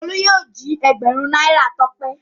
Olú yóò jí ẹgbẹ̀rún náírà Tọ́pẹ́.